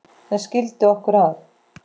sem skildi okkur að